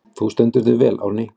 Þú stendur þig vel, Árný!